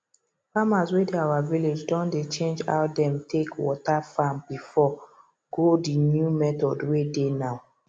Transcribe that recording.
farmers wey dey our village don dey change how them take water farm before go the new methods wey dey now